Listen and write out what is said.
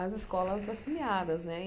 as escolas afiliadas, né?